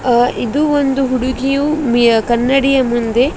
ಆ ಇದು ಒಂದು ಹುಡುಗಿಯು ಮಿ ಕನ್ನಡಿಯ ಮುಂದೆ --